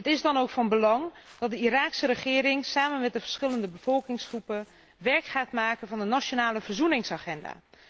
Het is dan ook van belang dat de Iraakse regering samen met de verschillende bevolkingsgroepen werk gaat maken van de nationale verzoeningsagenda.